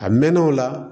A mɛnna o la